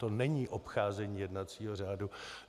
To není obcházení jednacího řádu.